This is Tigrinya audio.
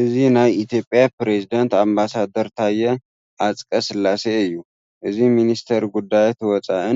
እዚ ናይ ኢትዮጵያ ፕረዚደንት ኣምባሳደር ታየ ኣፅቀስላሴ እዩ። እዚ ሚኒስትር ጉዳያት ወፃኢ